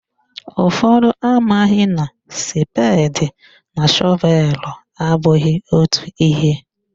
Ụfọdụ amaghị na spedi na shọvelu abụghị otu ihe